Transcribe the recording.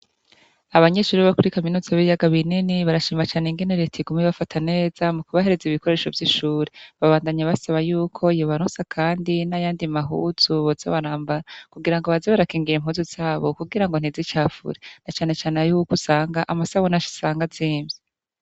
Abanyeshure bokuri kaminuza y'ibiyaga binini barashima cane ingene reta iguma ibafata neza mukubahereza ibikoresho vy'ishure. Babandanya basaba yuko yobarosa kandi nayandi mahuzu boza barambara kugira baze barakingira impuzu zabo kugirango ntizicafure nacanecane yuko usanga amasabune usanga azimvye.